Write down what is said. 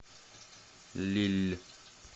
лилль